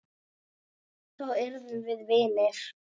Þá urðum við vinir.